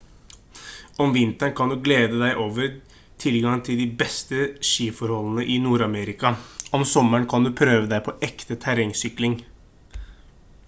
om vinteren kan du glede deg over tilgang til de beste skiforholdene i nord-amerika om sommeren kan du prøve deg på ekte terrengsykling